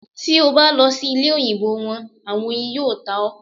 Ti o ba lọ si ile-oyinbo wọn, awọn oyin yoo ta ọ